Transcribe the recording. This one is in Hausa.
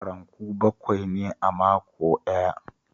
Ranku bakwai ne a mako ɗaya